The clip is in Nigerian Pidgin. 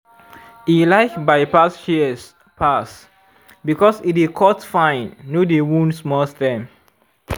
e like bypass shears pass because e dey cut fine no dey wound small stem.